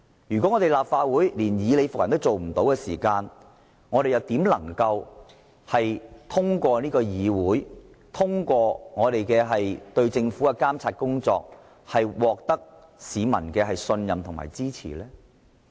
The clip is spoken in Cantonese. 如果立法會連以理服人也做不到，試問怎能夠通過監察政府獲得市民的信任和支持？